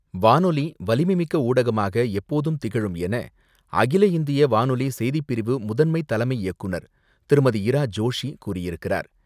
வானொலி வலிமைமிக்க ஊடகமாக எப்போதும் திகழும் என அகில இந்திய வானொலி செய்திப் பிரிவு முதன்மை தலைமை இயக்குநர் திருமதி இரா ஜோஷி கூறியிருக்கிறார்.